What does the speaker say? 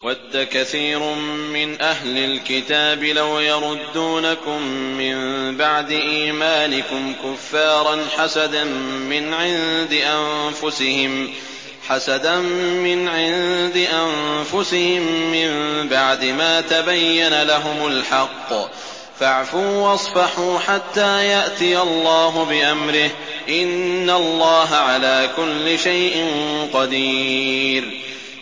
وَدَّ كَثِيرٌ مِّنْ أَهْلِ الْكِتَابِ لَوْ يَرُدُّونَكُم مِّن بَعْدِ إِيمَانِكُمْ كُفَّارًا حَسَدًا مِّنْ عِندِ أَنفُسِهِم مِّن بَعْدِ مَا تَبَيَّنَ لَهُمُ الْحَقُّ ۖ فَاعْفُوا وَاصْفَحُوا حَتَّىٰ يَأْتِيَ اللَّهُ بِأَمْرِهِ ۗ إِنَّ اللَّهَ عَلَىٰ كُلِّ شَيْءٍ قَدِيرٌ